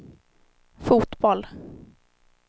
fotboll